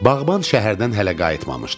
Bağban şəhərdən hələ qayıtmamışdı.